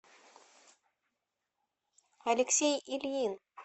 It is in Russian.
алексей ильин